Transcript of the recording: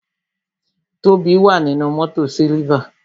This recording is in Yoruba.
Tobi wà nínú mótò siliva